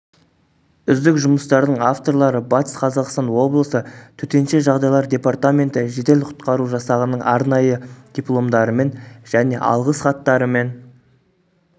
үздік жұмыстардың авторлары батыс қазақстан облысы төтенше жағдайлар депертаменті жедел-құтқару жасағының арнайы дипломдарымен және алғыс хаттарымен